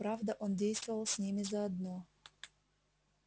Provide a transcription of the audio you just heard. правда он действовал с ними заодно